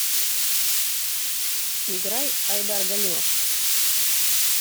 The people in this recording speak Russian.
играй айдар галимов